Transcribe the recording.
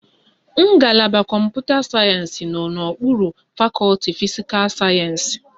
Ngalaba Kọmputa sayensị nọ n'okpuru fakọti fisikal sayensị